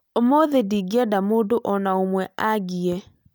Ũmũthĩ ndingĩenda mũndũ o na ũmwe angĩee